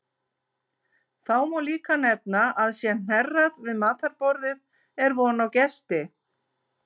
Þá má líka nefna að sé hnerrað við matarborðið er von á gesti.